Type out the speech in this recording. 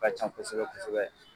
U ka can kosɛbɛ kosɛbɛ.